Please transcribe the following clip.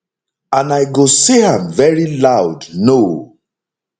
and i go say am veri loud no